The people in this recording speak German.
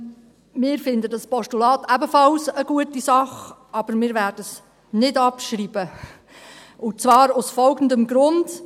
Wir finden dieses Postulat ebenfalls eine gute Sache, aber wir werden es nicht abschreiben, und zwar aus folgendem Grund: